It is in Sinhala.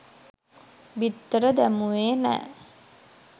බිත්තර දැමුවේ නෑ